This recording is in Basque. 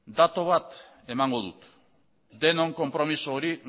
datu bat emango dut denon konpromiso hori